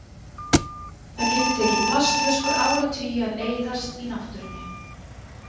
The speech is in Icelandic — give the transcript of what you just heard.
Það getur tekið plastflöskur áratugi að eyðast í náttúrunni.